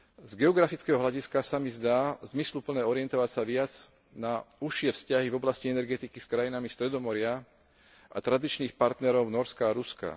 Z geografického hľadiska sa mi zdá zmysluplné orientovať sa viac na užšie vzťahy v oblasti energetiky s krajinami Stredomoria a tradičných partnerov Nórska a Ruska.